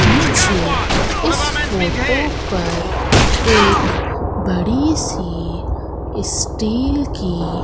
मुझे इस फोटो पर एक बड़ी सी स्टील की--